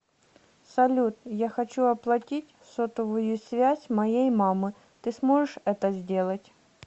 салют я хочу оплатить сотовую связь моей мамы ты сможешь это сделать